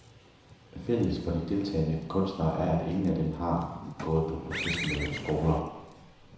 Fælles for de deltagende kunstnere er, at ingen af dem har gået på professionelle skoler.